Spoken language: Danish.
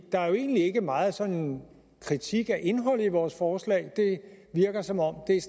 er jo egentlig ikke meget sådan kritik af indholdet i vores forslag det virker som om det